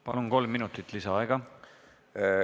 Palun, kolm minutit lisaaega!